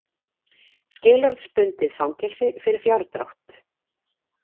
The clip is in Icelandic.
Skilorðsbundið fangelsi fyrir fjárdrátt